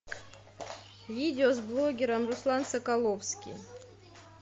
видео с блогером руслан соколовский